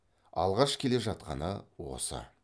алғаш келе жатқаны осы